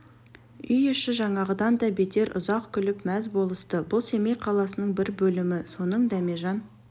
үй іші жаңағыдан да бетер ұзақ күліп мәз болысты бұл семей қаласының бір бөлімі соның дәмежан